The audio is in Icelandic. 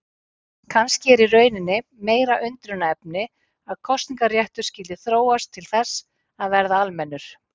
Kannski er í rauninni meira undrunarefni að kosningaréttur skyldi þróast til þess að verða almennur.